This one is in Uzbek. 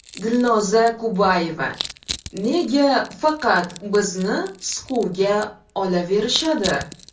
Dilnoza Kubayeva: Nega faqat bizni siquvga olaverishadi?.